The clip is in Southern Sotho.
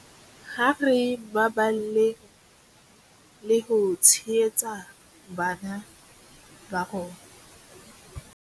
Ha re baballeng le ho tshehetsa bana ba rona.